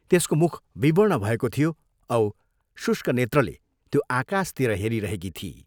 त्यसको मुख विवर्ण भएको थियो औ शुष्क नेत्रले त्यो आकाशतिर हेरिरहेकी थिई।